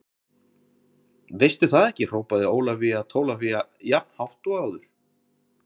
Veistu það ekki hrópaði Ólafía Tólafía jafn hátt og áður.